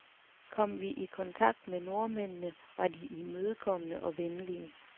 Kom vi i kontakt med nordmændene, var de imødekommende og venlige.